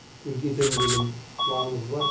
үлкейтемін деген планымыз бар